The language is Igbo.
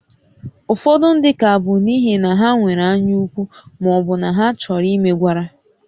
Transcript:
Ụfọdụ ndị ka bụ n'ihi na ha nwere anyaukwu ma ọ bụ na ha chọrọ imegwara